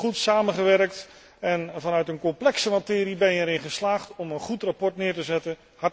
We hebben goed samengewerkt en vanuit een complexe materie ben je erin geslaagd om een goed verslag neer te zetten.